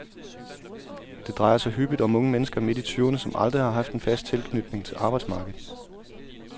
Det drejer sig hyppigt om unge mennesker midt i tyverne, som aldrig har haft en fast tilknytning til arbejdsmarkedet.